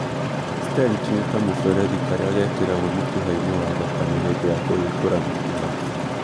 Stent nĩ kamũberethi karĩa gekĩragwo mũkiha-inĩ wa thakame hĩndĩ ya kũhingũra mĩkiha